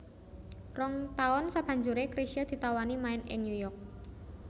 Rong taun sabanjuré Chrisye ditawani main ing New York